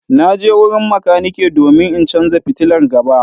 Na je wurin makaniki domin in canza fitilar gaba.